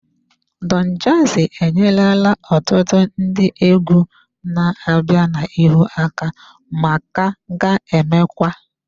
Don jazzy enyerela ọtụtụ ndị egwu na-abịa n'ihu aka ma ka ga-emekwa.